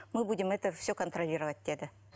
мы будем все это контралировать деді